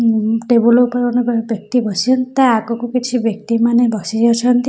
ଉଁ ଟେବୁଲ୍ ଉପରେ ଜଣେ ବ୍ୟ ବ୍ୟକ୍ତି ବସିଅନ୍ତି ତା ଆଗକୁ କିଛି ବ୍ୟକ୍ତିମାନେ ବସି ଅଛନ୍ତି।